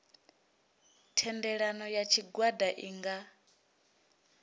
thendelano ya tshigwada i nga